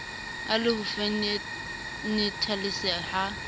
e le ho fenethalesea ha